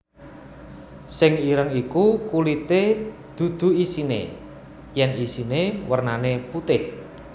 Sing ireng iku kulité dudu isine yen isine wernane putéh